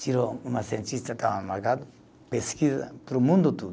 Tirou uma cientista que estava, pesquisa, para o mundo todo.